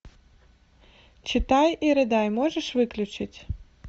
читай и рыдай можешь выключить